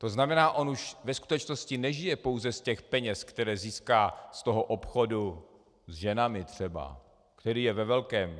To znamená, on už ve skutečnosti nežije pouze z těch peněz, které získá z toho obchodu s ženami třeba, který je ve velkém.